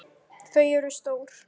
Þau eru stór.